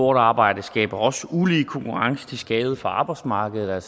arbejde skaber også ulige konkurrence til skade for arbejdsmarkedet